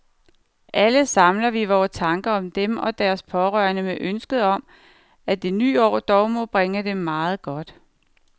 Alle samler vi vore tanker om dem og deres pårørende med ønsket om, at det nye år dog må bringe dem meget godt.